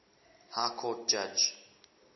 high court judge